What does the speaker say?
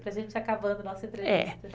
Para gente acabar nossa entrevista.